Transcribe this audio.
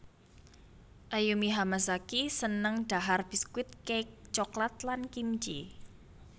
Ayumi Hamasaki seneng dhahar biskuit cake coklat lan kimchee